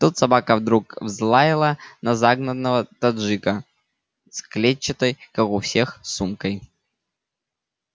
тут собака вдруг взлаяла на загнанного таджика с клетчатой как у всех сумкой